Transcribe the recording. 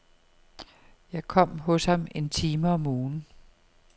Jeg kom hos ham en time om ugen.